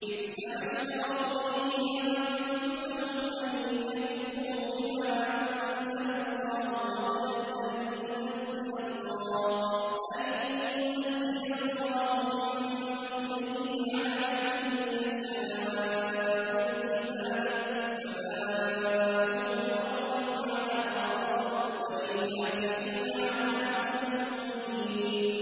بِئْسَمَا اشْتَرَوْا بِهِ أَنفُسَهُمْ أَن يَكْفُرُوا بِمَا أَنزَلَ اللَّهُ بَغْيًا أَن يُنَزِّلَ اللَّهُ مِن فَضْلِهِ عَلَىٰ مَن يَشَاءُ مِنْ عِبَادِهِ ۖ فَبَاءُوا بِغَضَبٍ عَلَىٰ غَضَبٍ ۚ وَلِلْكَافِرِينَ عَذَابٌ مُّهِينٌ